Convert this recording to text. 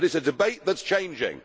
but it is a debate that is changing.